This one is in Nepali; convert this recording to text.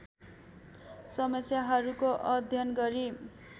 समस्याहरूको अध्ययन गरी